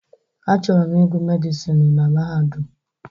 Achọrọ m ịgụ Medịsinu na Mahadum.